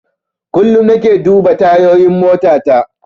Kullum nake duba tayoyin motata.